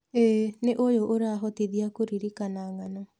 ĩĩ, na ũyũ ũrahotithia kũririkana ng'ano.